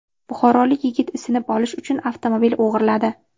Buxorolik yigit isinib olish uchun avtomobil o‘g‘irladi.